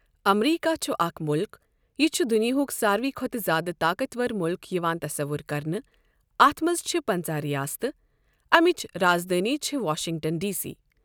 امریٖکہ چھُ اَکھ مُلُکھ۔ یہِ چھُ دنیاہُک ساروٕے کھۄتہٕ زیٛادٕ طاقتور مُلُکھ یِوان تصور کرنہٕ۔ اَتھ مَنٛز چَھے پنٛژاہ ریاستہٕ۔ ایمؠچ راز دٲنؠ چَھے وَاشِنٛگٹَن ڈی سی۔